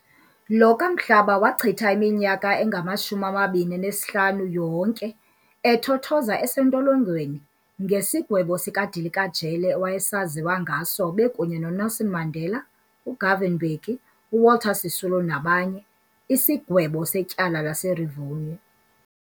Lo kaMhlaba wachitha iminyaka engama-25 yonke ethothoza esentilongweni ngesigwebo sika dilika jele awayesaziwa ngaso bekunye no Nelson Mandela, uGovan Mbeki, uWalter Sisulu nabanye , isigwebo setyala laseRivonia.